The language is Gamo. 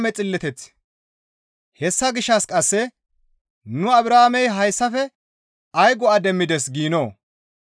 Hessa gishshas qasse nu Abrahaamey hayssafe ay go7a demmides giinoo?